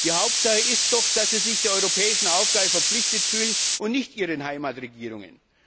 Die Hauptsache ist doch, dass sie sich der europäischen Aufgabe verpflichtet fühlen und nicht ihren Heimatregierungen.